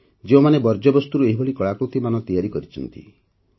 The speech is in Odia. ଯେଉଁମାନେ ବର୍ଜ୍ୟବସ୍ତୁରୁ ଏହିଭଳି କଳାକୃତି ମାନ ତିଆରି କରିପାରନ୍ତି